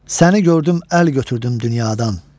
Səni gördüm, əl götürdüm dünyadan.